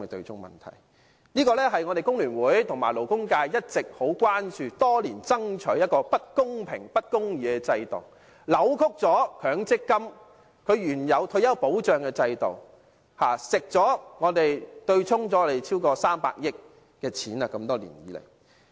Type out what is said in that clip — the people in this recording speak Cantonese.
這問題是工聯會和勞工界一直很關注的，我們多年來爭取取消這不公平、不公義的制度，因為它扭曲了強積金的退休保障原意，多年來對沖了超過300億元，這些都是工人的金錢。